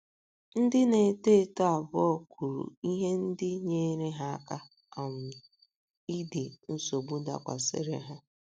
Ndị na - eto eto abụọ kwuru ihe ndị nyeere ha aka um idi nsogbu dakwasịrị ha.